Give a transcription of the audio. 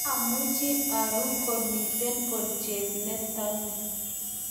mamuchi arue komito bolchet neto ni